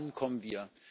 Wann kommen wir?